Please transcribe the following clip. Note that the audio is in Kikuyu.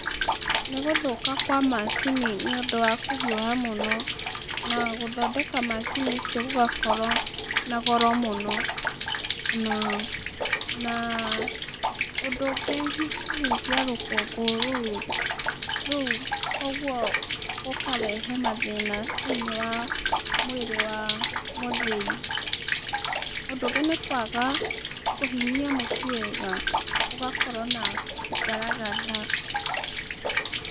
Nĩgũthũka kwa macini nĩ ũndũ wa kũhiũha mũno na gũthondeka macini icio gũgakorwo na goro mũno naa ũndũ ũngĩ kũhuhia rũkũngũ rũu koguo rũkarehe mathĩna thĩiniĩ wa mwĩrĩ wa mũthĩi. Ũndũ ũngĩ nĩkwaga kũhinyia mũtu wega ũgakorwo na ngaragatha.